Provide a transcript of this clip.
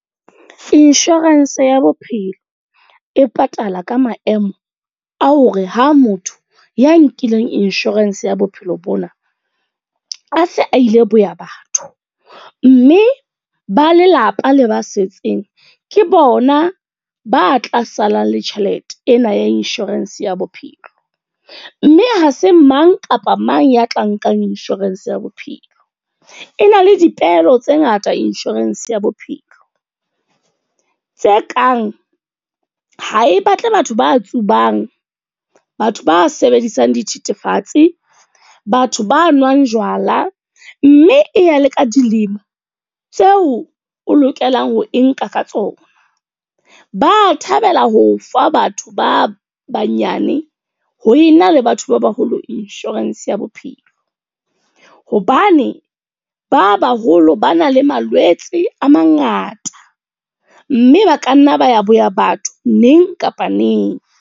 Insurance ya bophelo, e patala ka maemo a hore ha motho ya nkileng insurance ya bophelo bona, a se a ile boya batho. Mme ba lelapa le ba setseng, ke bona ba tla salang le tjhelete ena ya insurance ya bophelo. Mme ha se mang kapa mang ya tla nkang insurance ya bophelo. E na le dipehelo tse ngata insurance ya bophelo. Tse kang, ha e batle batho ba tsubang, batho ba sebedisang dithethefatsi, batho ba nwang jwala. Mme e ya le ka dilema tseo o lokelang ho e nka ka tsona. Ba thabela ho fa batho ba banyane ho ena le batho ba baholo insurance ya bophelo. Hobane ba baholo ba na le malwetse a mangata. Mme ba ka nna ba ya boya batho neng kapa neng.